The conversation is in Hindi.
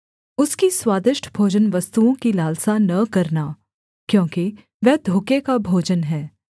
उसकी स्वादिष्ट भोजनवस्तुओं की लालसा न करना क्योंकि वह धोखे का भोजन है